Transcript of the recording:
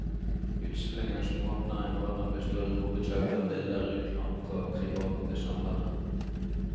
Utstillingen som åpner i morgen består i hovedsak av bilder utlånt fra private samlere.